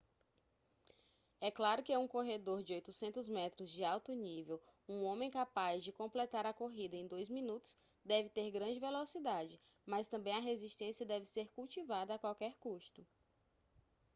é claro que um corredor de 800 metros de alto nível um homem capaz de completar a corrida em dois minutos deve ter grande velocidade mas também a resistência deve ser cultivada a qualquer custo